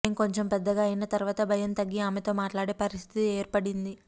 మేం కొంచెం పెద్దగా అయిన తరువాత భయం తగ్గి ఆమెతో మాట్లాడే పరిస్థితి ఏర్పడింది